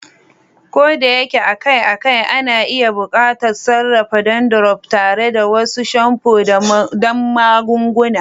Ko da yake akai-akai, ana iya buƙatar sarrafa dandruff tare da wasu shamfu da magunguna.